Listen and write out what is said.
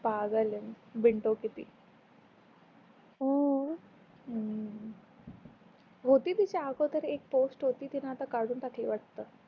पागल आहे, बिनडोक आहे ती हम्म होती तिच्या अगोदर एक पोस्ट होती तीन आता काढून टाकल वाटत